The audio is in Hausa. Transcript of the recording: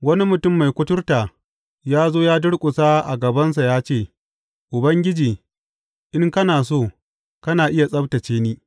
Wani mutum mai kuturta ya zo ya durƙusa a gabansa ya ce, Ubangiji, in kana so, kana iya tsabtacce ni.